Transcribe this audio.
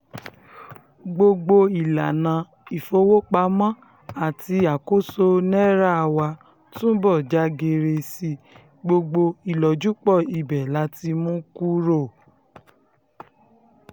gbogbo ìlànà ìfowópamọ́ àti àkóso náírà wá túbọ̀ já geere sí i gbogbo ìlọ́júpọ̀ ibẹ̀ la ti mú kúrò